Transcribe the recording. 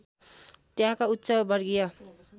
त्यहाँका उच्च वर्गीय